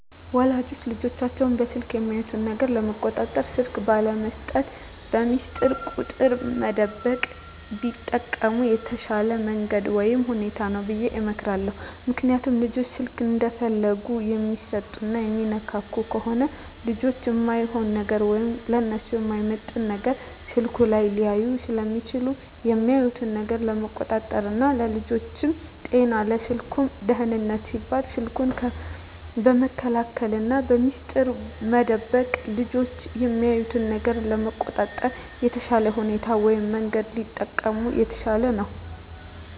ወላጆች ልጆቻቸውን በስልክ የሚያዩት ነገር ለመቆጣጠር ስልክ ባለመስጠት፣ በሚስጥር ቁጥር መደበቅ ቢጠቀሙ የተሻለ መንገድ ወይም ሁኔታ ነው ብየ እመክራለሁ። ምክንያቱም ልጆች ስልክ እንደፈለጉ የሚሰጡና የሚነካኩ ከሆነ ልጆች እማይሆን ነገር ወይም ለነሱ የማይመጥን ነገር ስልኩ ላይ ሊያዩ ስለሚችሉ የሚያዩትን ነገር ለመቆጣጠር ና ለልጆቹም ጤና ለስልኩም ደህንነት ሲባል ስልኩን በመከልከልና በሚስጥር መደበቅ ልጆች የሚያዩትን ነገር ለመቆጣጠር የተሻለ ሁኔታ ወይም መንገድ ቢጠቀሙ የተሻለ ነው።